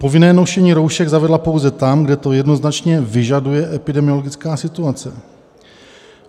- Povinné nošení roušek zavedla pouze tam, kde to jednoznačně vyžaduje epidemiologická situace.